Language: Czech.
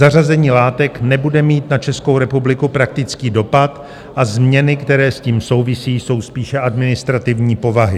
Zařazení látek nebude mít na Českou republiku praktický dopad a změny, které s tím souvisí, jsou spíše administrativní povahy.